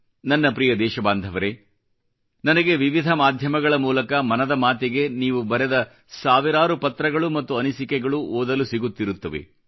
ನನ್ನ ಪ್ರ್ರಿಯ ದೇಶಬಾಂಧವರೇ ನನಗೆ ವಿವಿಧ ಮಾಧ್ಯಮಗಳ ಮೂಲಕ ಮನದ ಮಾತಿಗೆ ನೀವು ಬರೆದ ಸಾವಿರಾರು ಪತ್ರಗಳು ಮತ್ತು ಅನಿಸಿಕೆಗಳು ಓದಲು ಸಿಗುತ್ತಿರುತ್ತವೆ